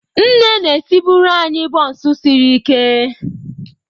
Nne na-esibuere anyị bonsu sirike.